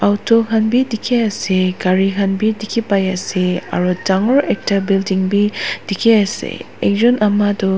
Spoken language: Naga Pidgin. auto khan bi dikhi ase gari khan bi dikhi pai ase aro dangor ekta building bi dikhi ase ek jun ama toh--